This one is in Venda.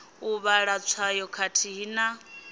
u vhala tswayo khathihi na